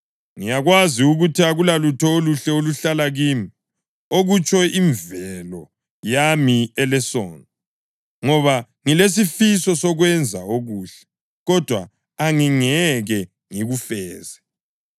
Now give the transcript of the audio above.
Ngiyakwazi ukuthi akulalutho oluhle oluhlala kimi, okutsho imvelo yami elesono. Ngoba ngilesifiso sokwenza okuhle, kodwa angingeke ngikufeze.